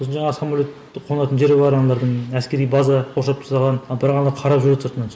сосын жаңағы самолетті қонатын жері бар аналардың әскери база қоршап тастаған ал бірақ ана қарап жүреді сыртынан